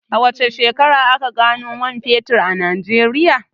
A wace shekara aka gano man fetur a Najeriya?